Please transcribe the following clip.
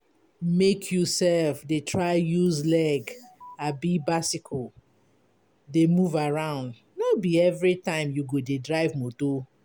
Make you self dey try use leg abi bicycle dey move around. No be everytime you go dey drive motor.